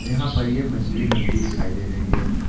यहां पर ये मछली मंडी दिखाई दे रही है।